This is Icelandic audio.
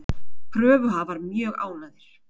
Kröfuhafar mjög ánægðir